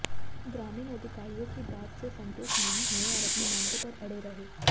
ग्रामीण अधिकारियों की बात से सतुष्ट नहीं हुए और अपनी मांगों पर अड़े रहे